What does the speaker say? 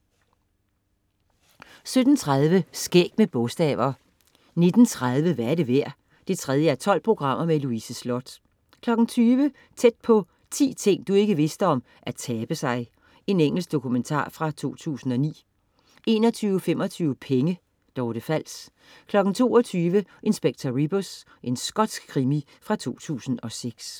17.30 Skæg med bogstaver 19.30 Hvad er det værd? 3:12. Louise Sloth 20.00 Tæt på: 10 ting du ikke vidste om at tabe sig. Engelsk dokumentar fra 2009 21.25 Penge. Dorte Fals 22.00 Inspector Rebus. Skotsk krimi fra 2006